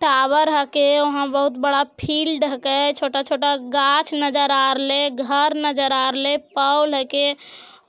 tower हके वहाँ बहुत बड़ा फील्ड हके छोटा-छोटा गाछ नजर आरले घर नजर आरले पोल हेके